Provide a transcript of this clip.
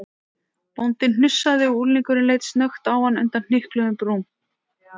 Bóndinn hnussaði og unglingurinn leit snöggt á hann undan hnykluðum brúm.